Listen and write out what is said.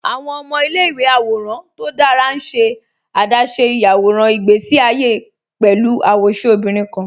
Awọn ọmọ ilẹ̀-ìwé àwòràn tó dára n ṣe adáṣé iyàwọ̀ràn ìgbèsí àyé pẹ̀lú awóṣẹ obìnrin kan